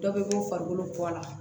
Dɔ bɛ bɔ farikolo bɔ la